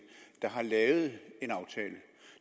der har lavet